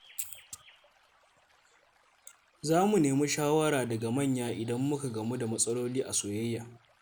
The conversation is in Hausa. Za mu nemi shawara daga manya idan muka gamu da matsaloli a soyayya.